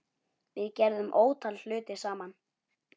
Við gerðum ótal hluti saman.